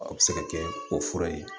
A bɛ se ka kɛ o fura ye